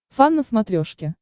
фан на смотрешке